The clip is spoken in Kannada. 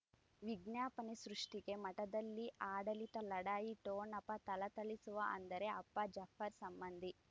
ವಿಜ್ಞಾಪನೆ ಸೃಷ್ಟಿಗೆ ಮಠದಲ್ಲಿ ಆಡಳಿತ ಲಢಾಯಿ ಠೊಣಪ ಥಳಥಳಿಸುವ ಅಂದರೆ ಅಪ್ಪ ಜಾಫರ್ ಸಂಬಂಧಿ